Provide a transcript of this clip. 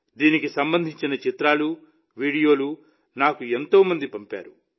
దీనికి సంబంధించిన చిత్రాలు వీడియోలను నాకు ఎంతో మంది పంపారు